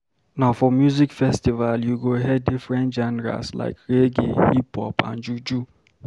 Na for music festival you go hear different genres like Reggae, Hip-hop and Juju.